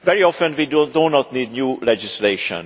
Very often we do not need new legislation